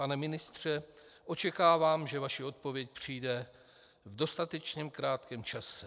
Pane ministře, očekávám, že vaše odpověď přijde v dostatečně krátkém čase.